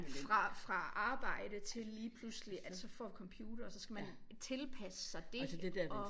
Fra fra arbejde til lige pludselig at så få computer og så skal man tilpasse sig dét og